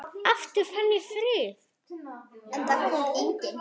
Aftur fann ég frið.